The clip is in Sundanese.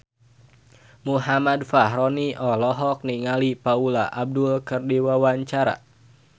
Muhammad Fachroni olohok ningali Paula Abdul keur diwawancara